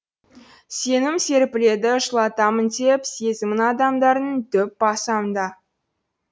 сенім серпіледі жылытамын деп сезімін адамдардың дөп басам да